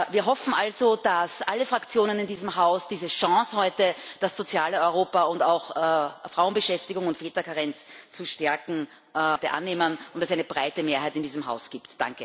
Wir hoffen also, dass alle Fraktionen in diesem Haus diese Chance, das soziale Europa und auch Frauenbeschäftigung und Väterkarenz zu stärken, heute annehmen und dass es eine breite Mehrheit in diesem Haus gibt.